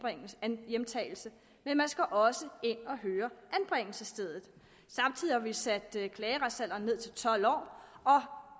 hjemtagelse men også anbringelsesstedet samtidig har vi sat klageretsalderen ned til tolv år og